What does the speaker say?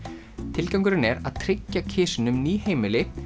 tilgangurinn er að tryggja kisunum ný heimili